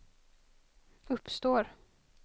uppstår